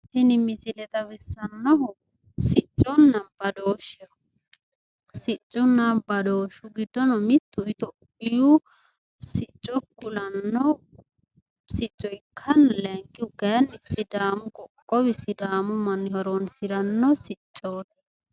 Tini misile xawissannohu sicconna badooshsheho. Siccunna badooshshu giddono mittu itiyoophiyu sicco kulanno sicco ikkanna layinkkihu kayinni sidaamu qoqqowi sidaamu manni horoonsiranno siccooti.